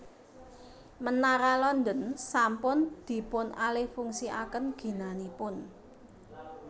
Menara London sampun dipunalihfungsiaken ginanipun